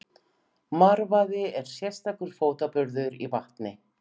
Marvaði er sérstakur fótaburður í vatni.